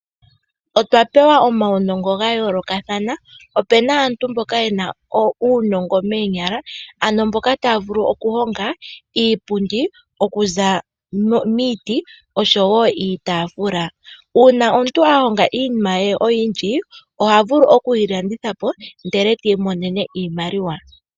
Otwa pewa omawunongo ga yoolokathana. Opena aantu mboka ye na uunongo meenyala, ano mboka ta ya vulu okuhonga iipundi oku za miiti osho woo iitafula. Uuna omuntu a honga iinima ye oyindji oha vulu okuyilanditha po ndele ti imonene iimaliwa.